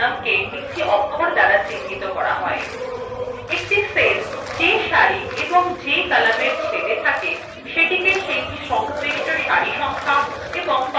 একটি cell cell সারি এবং columnএর ছেদa থাকে সেটিকে cell সংশ্লিষ্ট সারি সংখ্যা এবং column অক্ষর দ্বারা চিহ্নিত করা হয়